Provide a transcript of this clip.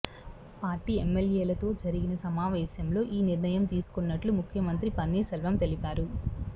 party MLA లతో జరిగిన సమావేశం లో ఈ నిర్ణయం తీసుకున్నట్లు ముఖ్యమంత్రి పన్నీర్ సెల్వం తెలిపారు